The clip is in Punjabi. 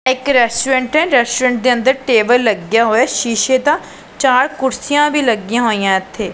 ਇਹ ਇੱਕ ਰੈਸਟੋਰੈਂਟ ਹੈ ਰੈਸਟੋਰੈਂਟ ਦੇ ਅੰਦਰ ਟੇਬਲ ਲੱਗਿਆ ਹੋਇਆ ਸ਼ੀਸ਼ੇ ਦਾ ਚਾਰ ਕੁਰਸੀਆਂ ਵੀ ਲੱਗੀਆਂ ਹੋਈਆਂ ਇਥੇ।